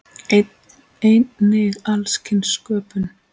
Einnig alls kyns sköpun.